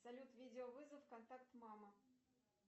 салют видеовызов контакт мама